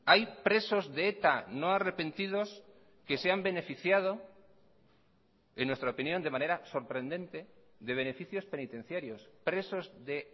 hay presos de eta no arrepentidos que se han beneficiado en nuestra opinión de manera sorprendente de beneficios penitenciarios presos de